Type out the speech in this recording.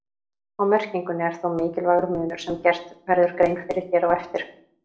Á merkingunni er þó mikilvægur munur sem gert verður grein fyrir hér á eftir.